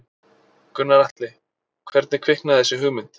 Gunnar Atli: Hvernig kviknaði þessi hugmynd?